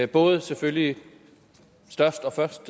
både selvfølgelig størst og først